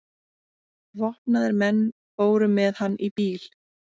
Vopnaðir menn fóru með hann í bíl.